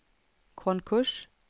konkurs